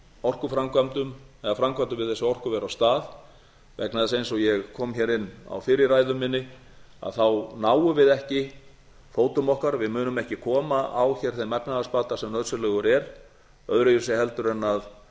orkuframkvæmdum eða framkvæmdum við þessi orkuver á stað vegna þess eins og ég kom hér inn á fyrr í ræðu minni þá náum við ekki fótum okkar við munum ekki koma á hér þeim efnahagsbata sem nauðsynlegur er öðruvísi heldur en að